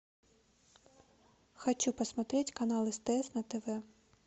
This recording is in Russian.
хочу посмотреть канал стс на тв